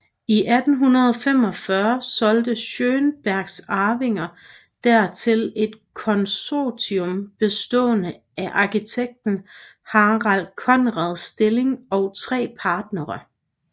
I 1845 solgte Schønbergs arvinger der til et konsortium bestående af arkitekten Harald Conrad Stilling og tre partnere